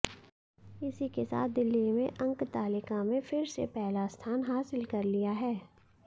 इसी के साथ दिल्ली ने अंकतालिका में फिर से पहला स्थान हासिल कर लिया है